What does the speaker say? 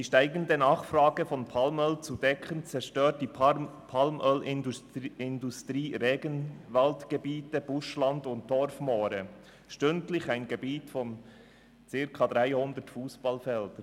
Um die steigende Nachfrage von Palmöl zu decken, zerstört die Palmölindustrie Regenwaldgebiete, Buschland und Dorfmoore – stündlich eine Fläche von circa dreihundert Fussballfeldern.